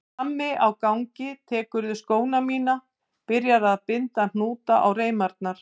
Frammi á gangi tekurðu skóna mína og byrjar að binda hnúta á reimarnar.